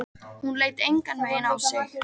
Hún leit engan veginn á sig.